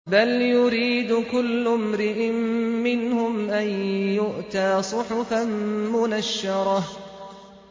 بَلْ يُرِيدُ كُلُّ امْرِئٍ مِّنْهُمْ أَن يُؤْتَىٰ صُحُفًا مُّنَشَّرَةً